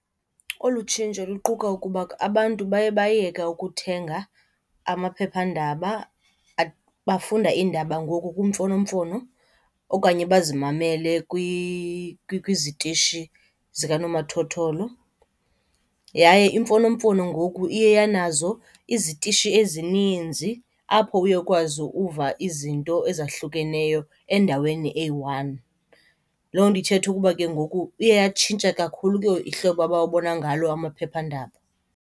Olu tshintsho luquka ukuba abantu baye bayeka ukuthenga amaphephandaba bafunda iindaba ngoku kwimfonomfono okanye bazimamele kwizitishi zikanomathotholo. Yaye imfonomfono ngoku iye yanazo izitishi ezininzi apho uye ukwazi uva izinto ezahlukeneyo endaweni eyi-one. Loo nto ithetha ukuba ke ngoku iye yatshintsha kakhulu ke ngoku ihlobo abawubona ngalo amaphephandaba.